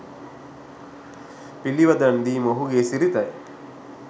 පිළිවදන් දීම ඔහුගේ සිරිතයි.